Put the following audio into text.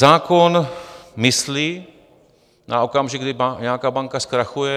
Zákon myslí na okamžik, kdy nějaká banka zkrachuje.